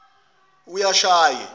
uyashaye